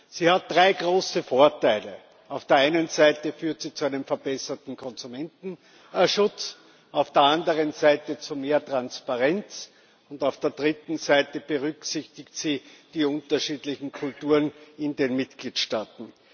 Sie hat drei große Vorteile Auf der einen Seite führt sie zu einem verbesserten Konsumentenschutz, auf der anderen Seite zu mehr Transparenz und auf der dritten Seite berücksichtigt sie die unterschiedlichen Kulturen in den Mitgliedstaaten.